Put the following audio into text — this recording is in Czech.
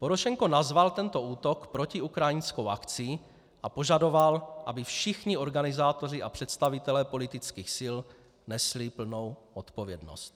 Porošenko nazval tento útok protiukrajinskou akcí a požadoval, aby všichni organizátoři a představitelé politických sil nesli plnou odpovědnost.